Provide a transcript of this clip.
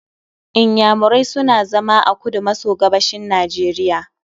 Inyamurai suna zama a kudu maso gabashin Nigeria